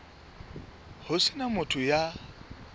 ho se na motho ya